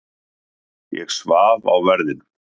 Ég svaf á verðinum.